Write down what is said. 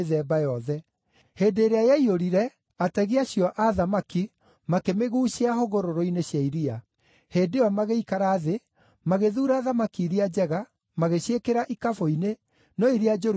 Hĩndĩ ĩrĩa yaiyũrire, ategi acio a thamaki makĩmĩguucia hũgũrũrũ-inĩ cia iria. Hĩndĩ ĩyo magĩikara thĩ, magĩthuura thamaki iria njega, magĩciĩkĩra ikabũ-inĩ, no iria njũru magĩcite.